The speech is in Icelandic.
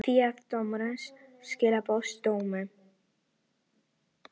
Því ákvað dómurinn að skilorðsbinda dóminn